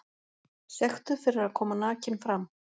Sektuð fyrir að koma nakin fram